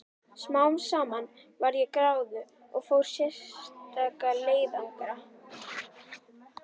Smám saman varð ég gráðug og fór í sérstaka leiðangra.